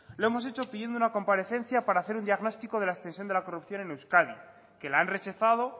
lo hemos hecho pidiendo una comparecencia para hacer un diagnóstico de la extensión de la corrupción en euskadi que la han rechazado